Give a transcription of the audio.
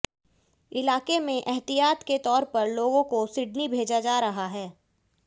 इलाके में एहतियात के तौर पर लोगों को सिडनी भेजा रहा है